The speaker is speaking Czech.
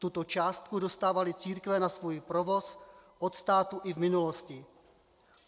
Tuto částku dostávaly církve na svůj provoz od státu i v minulosti.